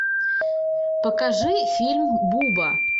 покажи фильм буба